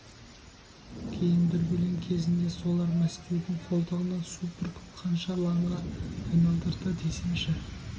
кейін дүрбелең кезінде солар мәскеудің қолтығына су бүркіп қанша лаңға айналдырды десеңші